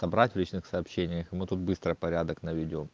набрать в личных сообщениях и мы тут быстро порядок наведём